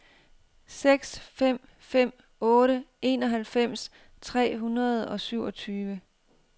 seks fem fem otte enoghalvfems tre hundrede og syvogtyve